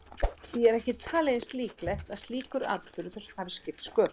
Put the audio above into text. Því er ekki talið eins líklegt að slíkur atburður hafi skipt sköpum.